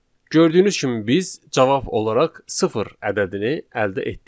Gördüyünüz kimi biz cavab olaraq sıfır ədədini əldə etdik.